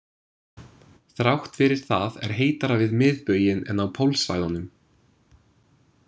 Þrátt fyrir það er heitara við miðbauginn en á pólsvæðunum.